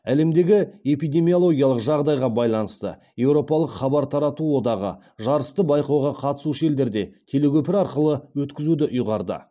әлемдегі эпидемиологиялық жағдайға байланысты европалық хабар тарату одағы жарысты байқауға қатысушы елдерде телекөпір арқылы өткізуді ұйғарды